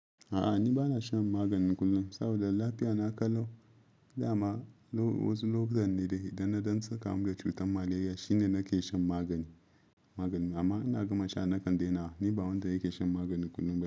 A'a ni ba na shan magani kullum saboda lafiya na kallo. Da ma wasu lokutan ne da idan na dan sukamu da cutar malaria shine nake shan magani magani. Amma ina gama sha na kan daina. Ni ba wanda yake shan magani kullum.